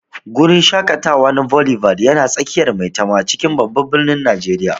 Guri shaƙatawa na Boulevard yana tsakiyar Maitama a cikin Babban Birnin Tarayya.